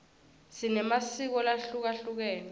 sinemasiko lahlukehlukene